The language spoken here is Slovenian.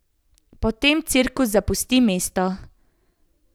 Potem cirkus zapusti mesto.